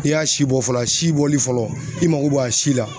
I y'a si bɔ fɔlɔ, a si bɔli fɔlɔ i mako b'a si la